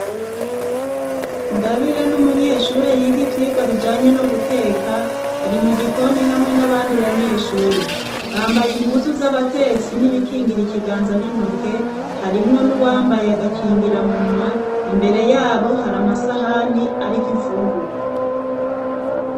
Ngabire ni umunyeshure yiga ivyigwa bijanye no guteka, ari mu gikoni hamwe n'abandi banyeshure bambaye impuzu z'abatetsi n'ibikingira ikiganza n'intoke harimwo n'uwambaye agakingiramunwa, imbere yabo hari amasahani ariko imfungurwa.